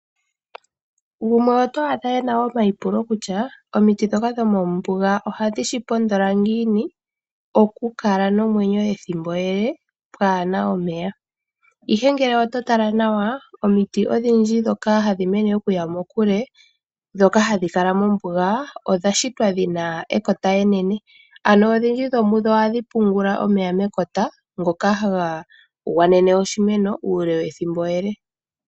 Gumwe oto adha ena omayipulo kusha omiti dhoka dhomombuga ohadhi shi pondola ngiini oku kala nomwenyo ethimbo ele pwaana omeya. Ihe ngele oto tala nawa omiti odhindji dhoka hadhi mene okuya muule, dhoka hadhi kala mombuga odha shitwa dhina ekota enene. Ano odhindji dhomudho ohadhi pungula omeya mekota ngoka haga gwanene oshimeno uule wethimbo ele.